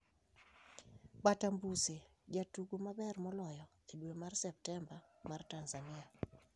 Batambuze jatugo maber moloyo e dwe mar Septemba mar Tanzania